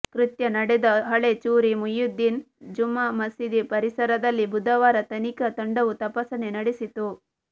ಕೃತ್ಯ ನಡೆದ ಹಳೆ ಚೂರಿ ಮುಹಿಯುದ್ದೀನ್ ಜುಮಾ ಮಸೀದಿ ಪರಿಸರದಲ್ಲಿ ಬುಧವಾರ ತನಿಖಾ ತಂಡವು ತಪಾಸಣೆ ನಡೆಸಿತು